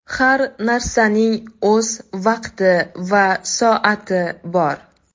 Har narsaning o‘z vaqti va soati bor.